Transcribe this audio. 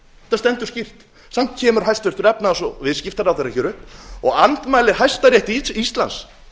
þetta stendur skýrt samt kemur hæstvirtur efnahags og viðskiptaráðherra hér upp og andmælir hæstarétti íslands